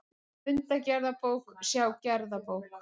Fundagerðabók, sjá gerðabók